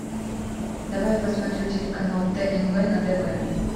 давай я посмотрю телеканал тнв на тв